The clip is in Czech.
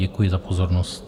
Děkuji za pozornost.